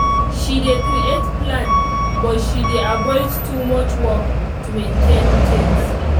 she dey create plan but she dey avoid too much work to maintain things